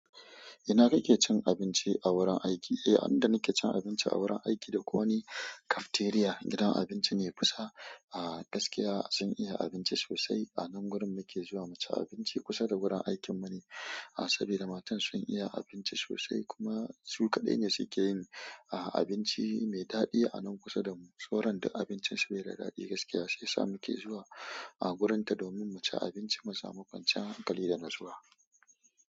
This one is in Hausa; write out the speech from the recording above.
Ina kake cin abinci a wurin aiki. Eh, inda nake cin abinci a wurin aiki dai ko wani cafeteria, gidan abinci ne kusa, ah gaskiya sun iya abinci sosai. Anan wurin muke zuwa mu ci abinci kusa da wurin aikinmu ne. Ah saboda matan sun iya abinci sosai kuma su kaɗai ne suke yin ah abinci mai daɗi anan kusa da mu. Soran dak abincinsu bai da daɗi gaskiya sai sa muke zuwa ah wurinta domin mu ci abinci mu samu kwanciyar hankali da natsuwa.